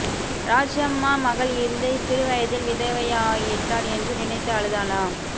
ராஜம்மா மகள் இந்த சிறு வயதில் விதவையாயிட்டாள் என்று நினைத்து அழுதாளா